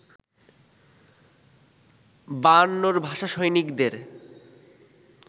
বায়ান্নর ভাষা সৈনিকদের